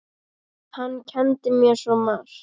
Hann kenndi mér svo margt.